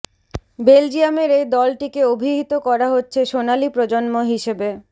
বেলজিয়ামের এই দলটিকে অভিহিত করা হচ্ছে সোনালী প্রজন্ম হিসেবে